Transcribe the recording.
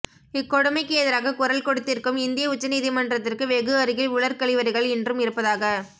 இக்கொடுமைக்கு எதிராக குரல் கொடுத்திருக்கும் இந்திய உச்சநீதி மன்றத்திற்கு வெகு அருகில் உலர் கழிவறைகள் இன்றும் இருப்பதாக